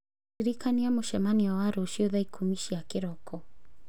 ndirikani mũcemanio wa rũciũ thaa ikũmi cia kĩroko